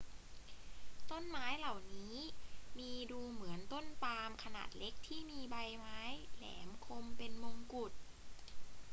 ต้นไม้เหล่านี้มีดูเหมือนต้นปาล์มขนาดเล็กที่มีใบไม้แหลมคมเป็นมงกุฎ